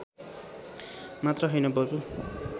मात्र हैन बरु